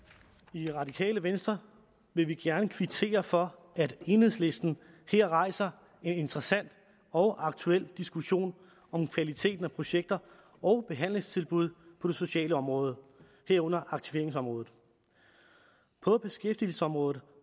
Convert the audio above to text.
i radikale venstre vil vi gerne kvittere for at enhedslisten her rejser en interessant og aktuel diskussion om kvaliteten af projekter og behandlingstilbud på det sociale område herunder aktiveringsområdet på beskæftigelsesområdet